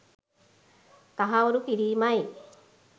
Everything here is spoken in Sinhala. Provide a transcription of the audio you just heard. තහවුරු කිරීමයි.